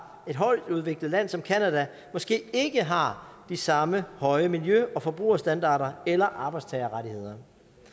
et højtudviklet land som canada måske ikke har de samme høje miljø og forbrugerstandarder eller arbejdstagerrettigheder